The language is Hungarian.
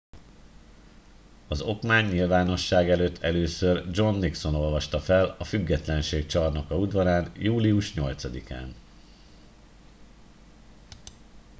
az okmányt nyilvánosság előtt először john nixon olvasta fel a függetlenség csarnoka udvarán július 8 án